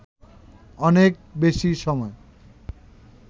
অনেক বেশি সময়